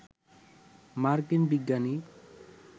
মার্কিন বিজ্ঞানী